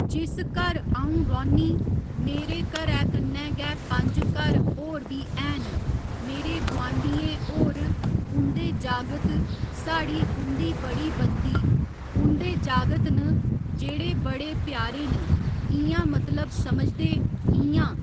जिस घर अ'ऊं रौंह्‌न्नी मेरे घरै कन्नै गै पंज घर होर बी हैन मेरे गुआंढियें होर उं'दे जागत साढ़ी उं'दी बड़ी बनदी उं'दे जागत न जेह्ड़े बड़े प्यारे न इ'यां मतलब समझदे इ'यां